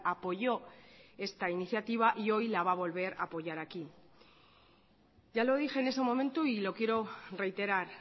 apoyó esta iniciativa y hoy la va a volver a apoyar aquí ya lo dije en ese momento y lo quiero reiterar